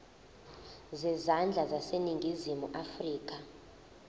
zezandla zaseningizimu afrika